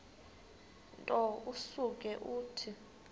nto usuke uthi